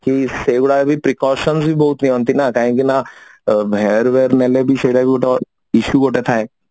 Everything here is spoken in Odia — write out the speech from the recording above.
କି ସେଇଗୁଡାକ ବି ବହୁତ precautions ବି ବହୁତ ନିଅନ୍ତି କାହିକି ନା hair ୱାର ନେଲେବି ସେଇଟା ବି issue ଗୋଟେ ଥାଏ